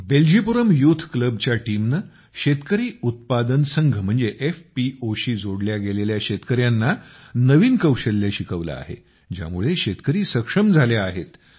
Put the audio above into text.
बेल्जीपुरम यूथक्लबच्या टीमनं शेतकरी उत्पादन संघ म्हणजे एफपीओ शी जोडल्या गेलेल्या शेतकऱ्यांना नवीन कौशल्य शिकवलं आहे ज्यामुळे शेतकरी सक्षम झाले आहेत